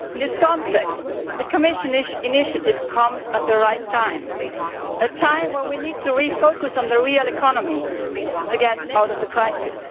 In this context, the Commission's initiative comes at the right time, a time when we need to refocus on the real economy to get out of the crisis.